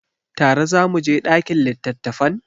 Tare za mu je ɗakin littattafan?